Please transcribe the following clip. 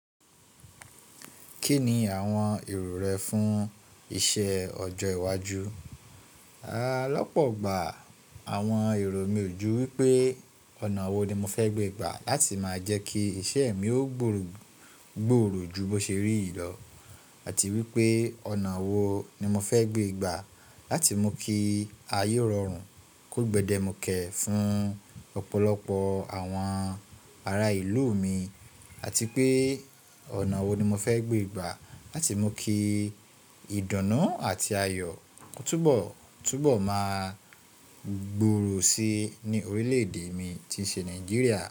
Kí ni àwọn èrò rẹ fún iṣẹ́ ọjọ́ iwájú? Rárá, lọ́pọ̀ gbà àwọn èrò mi ò jú wípé ọ̀nà wo ni mo fẹ́ gbé gbà láti máa jẹ́ kí iṣẹ́ mi ó gbòòrò ju bó ṣe rí ìlọ̀, àti wípé ọ̀nà wo ni mo fẹ́ gbé ìgbà láti mú kí ayé rọrùn kó gbẹ́dẹ̀ mú kẹ fún ọ̀pọ̀lọpọ̀ àwọn ará ìlú mi àti pé ọ̀nà wo ni mo fẹ́ gbé ìgbà láti mú kí ìdunu ati ayọ̀ túbọ̀ máa gbòòrò si ní orílẹ̀-èdè mi tí ṣe Nàìjíríà.